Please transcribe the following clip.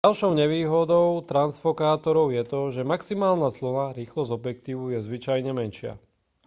ďalšou nevýhodou transfokátorov je to že maximálna clona rýchlosť objektívu je zvyčajne menšia